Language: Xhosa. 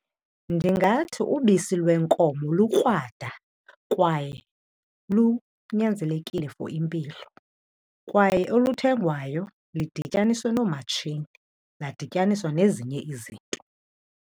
Ndingathi ubisi lwenkomo lukrwada kwaye lunyanzelekile for impilo kwaye oluthengwayo lidinyaniswe noomatshini, ladityaniswa nezinye izinto.